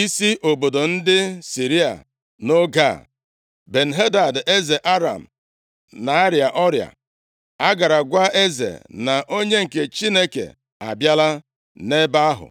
isi obodo ndị Siria. Nʼoge a, Ben-Hadad eze Aram, na-arịa ọrịa. “A gara gwa eze na onye nke Chineke abịala nʼebe ahụ.”